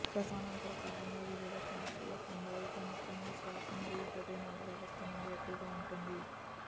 ప్రసవానంతర కాలంలో వివిధ సమస్యల సంభావ్యత ముఖ్యంగా శ్వాస మరియు హృదయనాళ వ్యవస్థ నుండి ఎక్కువగా ఉంటుంది